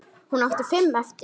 Hún átti fimm eftir.